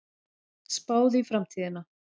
Spáð í framtíðina